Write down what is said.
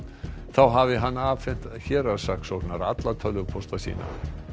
þá hafi hann afhent héraðssaksóknara alla tölvupósta sína